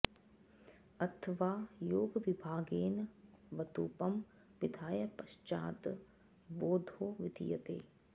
अथ वा योगविभागेन वतुपं विधाय पश्चाद् वो घो विधीयते